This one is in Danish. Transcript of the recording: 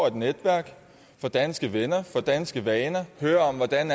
et netværk får danske venner får danske vaner hører om hvordan